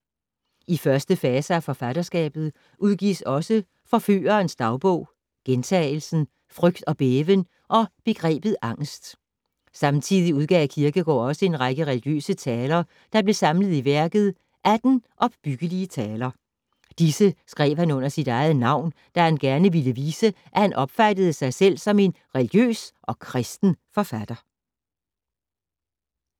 I første fase af forfatterskabet udgives også Forførerens dagbog, Gjentagelsen, Frygt og Bæven og Begrebet Angest. Samtidig udgav Kierkegaard også en række religiøse taler, der blev samlet i værket Atten opbyggelige taler. Disse skrev han under eget navn, da han gerne ville vise, at han opfattede sig selv om en religiøs og kristen forfatter.